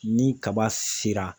Ni kaba sera